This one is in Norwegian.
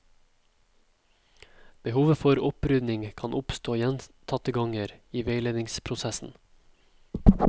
Behovet for opprydning kan oppstå gjentatte ganger i veiledningsprosessen.